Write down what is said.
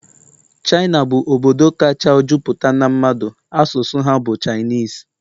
China bụ obodo kacha juputa n'a mmadu, asụsụ ha bu Chinese